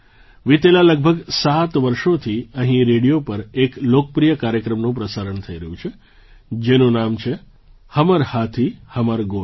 વિતેલાં લગભગ સાત વર્ષોથી અહીં રેડિયો પર એક લોકપ્રિય કાર્યક્રમનું પ્રસારણ થઈ રહ્યું છે જેનું નામ છે હમર હાથી હમર ગોઠ